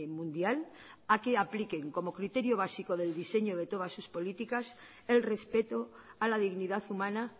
mundial a que apliquen como criterio básico del diseño de todas sus políticas el respeto a la dignidad humana